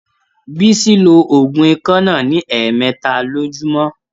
Bísí ló òògùn ikọ́ náà ní ẹ̀mẹẹ́ta lojúmọ́.